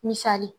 Misali